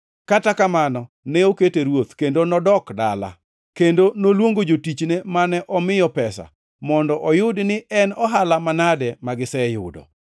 “Kata kamano, ne okete ruoth, kendo nodok dala. Kendo noluongo jotichne mane omiyo pesa, mondo oyud ni en ohala manade magiseyudo.